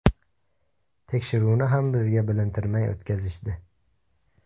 Tekshiruvni ham bizga bilintirmay o‘tkazishdi.